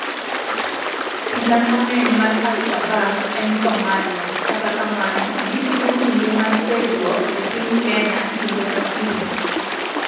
Pila mang'eny mar Al-Shabab en Somalia, kata kamano gitimo kinde mar terruok e piny Kenya kinde ka kinde.